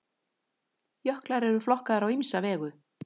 Jöklar eru flokkaðir á ýmsa vegu.